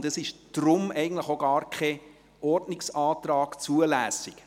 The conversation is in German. Deshalb ist eigentlich auch kein Ordnungsantrag zulässig.